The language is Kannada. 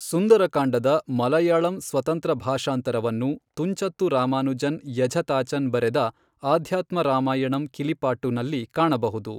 ಸುಂದರ ಕಾಂಡದ ಮಲಯಾಳಂ ಸ್ವತಂತ್ರ ಭಾಷಾಂತರವನ್ನು ತುಂಚತ್ತು ರಾಮಾನುಜನ್ ಎಝುತಾಚನ್ ಬರೆದ ಅಧ್ಯಾತ್ಮ ರಾಮಾಯಣಂ ಕಿಲಿಪಾಟ್ಟು ನಲ್ಲಿ ಕಾಣಬಹುದು.